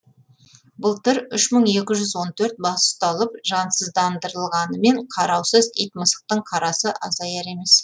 былтыр үш мың екі жүз он төрт бас ұсталып жансыздандырылғанымен қараусыз ит мысықтың қарасы азаяр емес